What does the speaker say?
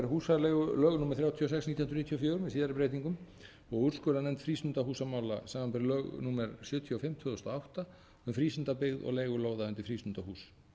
þrjátíu og sex nítján hundruð níutíu og fjögur með síðari breytingum og úrskurðarnefnd frístundahúsamála samanber lög númer sjötíu og fimm tvö þúsund og átta með frístundabyggð og leigulóðir undir frístundahús